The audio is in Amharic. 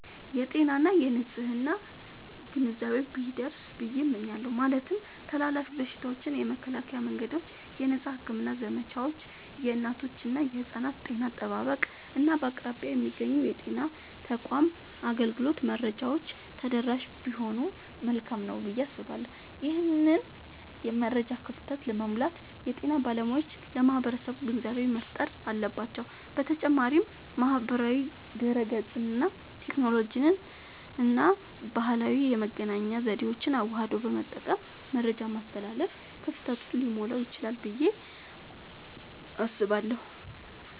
የጤና እና የንፅህና ግንዛቤ ቢደርስ ብየ እመኛለሁ። ማለትም ተላላፊ በሽታዎችን የመከላከያ መንገዶች፣ የነፃ ሕክምና ዘመቻዎች፣ የእናቶችና የሕፃናት ጤና አጠባበቅ፣ እና በአቅራቢያ የሚገኙ የጤና ተቋማት አገልግሎት መረጃዎች ተደራሽ ቢሆኑ መልካም ነዉ ብየ አስባለሁ። ይህንን የመረጃ ክፍተት ለመሙላት የጤና ባለሙያዎች ለማህበረሰቡ ግንዛቤ መፍጠር አለባቸዉ። በተጨማሪም ማህበራዊ ድህረገጽን፣ ቴክኖሎጂንና ባህላዊ የመገናኛ ዘዴዎችን አዋህዶ በመጠቀም መረጃን ማስተላለፍ ክፍተቱን ሊሞላዉ ይችላል ብየ አስባለሁ።